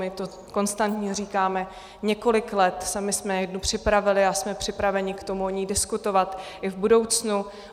My to konstantně říkáme několik let, my jsme jednu připravili a jsme připraveni k tomu o ní diskutovat i v budoucnu.